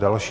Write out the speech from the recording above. Další?